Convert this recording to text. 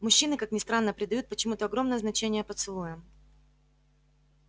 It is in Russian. мужчины как ни странно придают почему-то огромное значение поцелуям